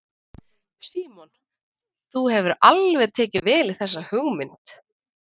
Símon: Þú hefur alveg tekið vel í þessa hugmynd?